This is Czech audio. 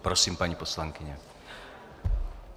Prosím, paní poslankyně.